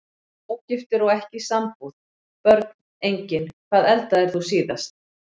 Ógiftur og ekki í sambúð Börn: Engin Hvað eldaðir þú síðast?